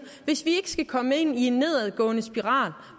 hvis vi ikke skal komme ind i en nedadgående spiral